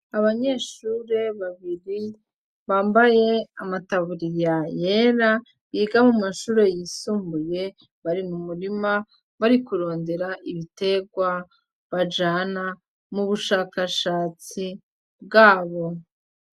Abanyeshure babiri bambaye amataburiya yera biga mumashure yisumbuye bari mumurima bari kurondera ibitegwa bajana mubushakashatsi bwabo.